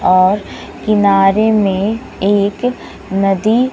और किनारे में एक नदी--